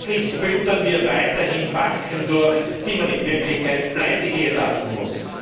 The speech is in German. Letztlich füttern wir weiterhin Banken durch, die man in Wirklichkeit pleitegehen lassen muss.